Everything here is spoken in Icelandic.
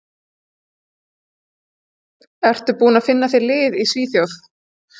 Ertu búinn að finna þér lið í Svíþjóð?